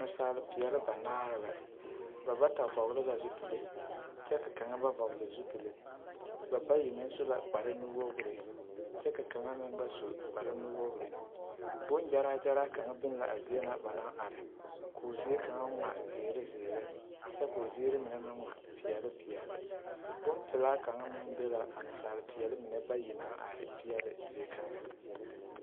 Nasaale pɛle banaare la ba bata vɔle la zupile kyɛ ka kang ba vɔle zupile ba bayi meŋ su kpare nuuri kyɛ ka kang meŋ ba su kpare nuwogre bongyaragyara kaŋ be la a zie na ba naŋ are k'o zie kaŋ ŋmaa ziire ziire kyɛ k'o zie kaŋa meŋ ŋmaa peɛle peɛle bonpilaa kang meŋ be la a nasaapeɛle mine bayi naŋ are peɛle zie kang.